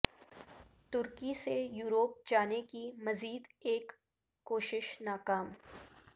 ترکی سے یورپ جانے کی مزید ایک کوشش ناکام